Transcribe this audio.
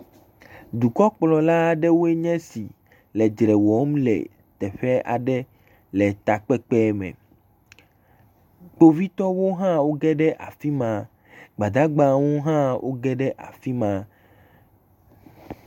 Dukɔkplɔla aɖewoe nye esi le dzre wɔm le teƒe aɖe le takpekpe me. Kpovitɔ hã wo geɖe afima. Gbadagba hã wo geɖe afima.